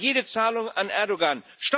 Stoppen wir jede Zahlung an Erdoğan!